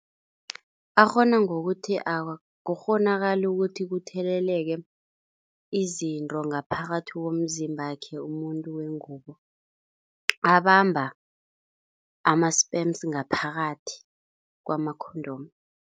Akghona ngokuthi akukghonakali ukuthi kutheleleke izinto ngaphakathi komzimbakhe umuntu wengubo. Abamba ama-sperms ngaphakathi kwama-condom.